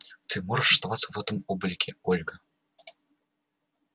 ты можешь оставаться в этом облике ольга